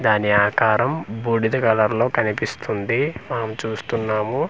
దాని ఆకారం బూడిద కలర్లో కనిపిస్తుంది మనం చూస్తున్నాము .]